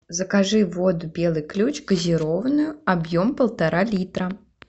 закажи воду белый ключ газированную объем полтора литра